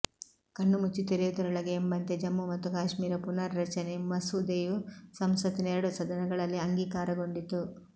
ಕಣ್ಣು ಮುಚ್ಚಿ ತೆರೆಯುವುದರೊಳಗೆ ಎಂಬಂತೆ ಜಮ್ಮು ಮತ್ತು ಕಾಶ್ಮೀರ ಪುನಾರ್ರಚನೆ ಮಸೂದೆಯು ಸಂಸತ್ತಿನ ಎರಡೂ ಸದನಗಳಲ್ಲಿ ಅಂಗೀಕಾರಗೊಂಡಿತು